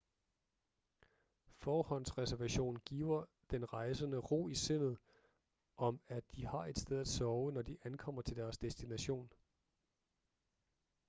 forhåndsreservation giver den rejsende ro i sindet om at de har et sted at sove når de ankommer til deres destination